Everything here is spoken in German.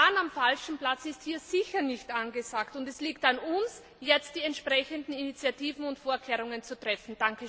Sparen am falschen Platz ist hier sicher nicht angesagt, und es liegt an uns, jetzt die entsprechenden Initiativen und Vorkehrungen zu treffen.